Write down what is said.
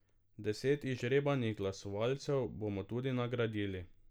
Deset izžrebanih glasovalcev bomo tudi nagradili.